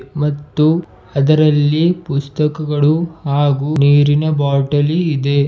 ಮತ್ತು ಅದರಲ್ಲಿ ಪುಸ್ತಕಗಳು ಹಾಗೂ ನೀರಿನ ಬಾಟಲಿ ಇದೆ.